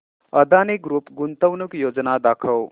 Adani group गुंतवणूक योजना दाखव